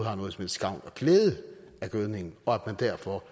glæde af gødningen og derfor